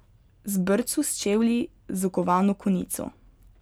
Z brco s čevlji z okovano konico.